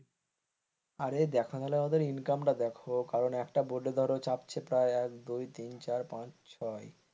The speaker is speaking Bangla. আরে দেখোনা ওদের income টা দেখো কারণ একটা boat ধরো চাপছে প্রায় এক দুই তিন চার পাঁচ ছয়.